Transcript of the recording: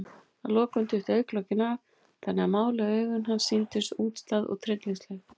Að lokum duttu augnalokin af, þannig að máluð augu hans sýndust útstæð og tryllingsleg.